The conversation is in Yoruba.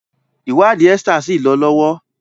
ìwádìí Esther sí lọ lọwọ